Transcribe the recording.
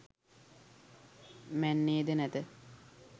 මැන්නේද නැත.